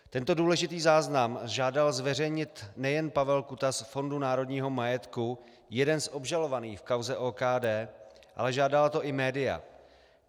Tento důležitý záznam žádal zveřejnit nejen Pavel Kuta z Fondu národního majetku, jeden z obžalovaných v kauze OKD, ale žádala to i média.